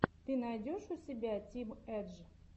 ты найдешь у себя тим эдж